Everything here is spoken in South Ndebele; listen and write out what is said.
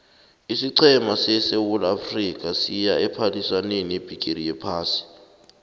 isiqhema sesewula afrika siya ephaliswaneni yebhigiri yephasi